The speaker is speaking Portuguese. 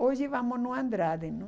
Hoje vamos no Andrade, não?